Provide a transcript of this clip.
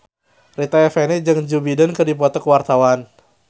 Rita Effendy jeung Joe Biden keur dipoto ku wartawan